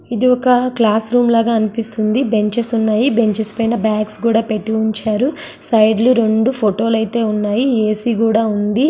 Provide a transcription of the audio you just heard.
ఇది ఒక క్లాస్రూమ్ లాగా అనిపిస్తుంది. బెంచెస్ ఉన్నాయి. బెంచెస్ పైన బాగ్స్ కూడా పెట్టి ఉంచారు. సైడ్ లు రెండు ఫొటో లైతే ఉన్నాయి. ఏసీ కూడా ఉంది.